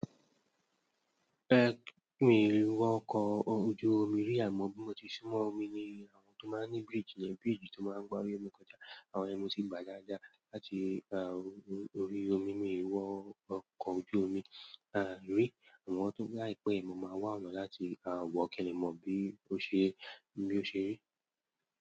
Mì wọ ọkọ̀ ojú omi rí àmọ́ bí mo ti sún mọ́ omi ni àwọn tó máa ń ní bridge, ni bridge tó máa ń gba orí omi kọjá. Àwọn yen mo ti gba dá dá láti orí omi mìí wọ ọkọ̀ ojú omi rí àmọ́ tó láìpẹ́ mo máa wá ọ̀nà láti wọ kile mọ bí ó ṣe rí.